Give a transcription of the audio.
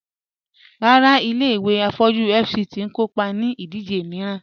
Ràrà, ilẹ̀-ìwé afọ̀jú FCT n kòpá ní ìdíjè miìràn